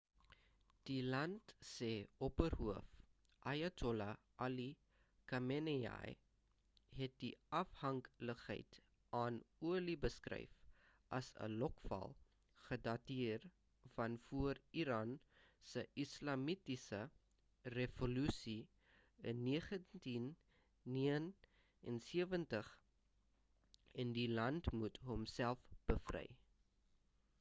die land se opperhoof ayatollah ali khamenei het die afhanklikheid aan olie beskryf as 'n lokval' gedateer van voor iran se islamitiese revolusie in 1979 en die land moet homself bevry